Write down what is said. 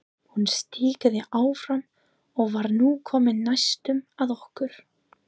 Hún stikaði áfram og var nú komin næstum að okkur.